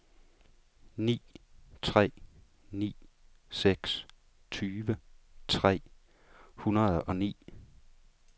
ni tre ni seks tyve tre hundrede og ni